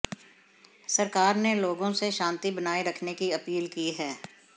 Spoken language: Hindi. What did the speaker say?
सरकार ने लोगों से शांति बनाए रखने की अपील की है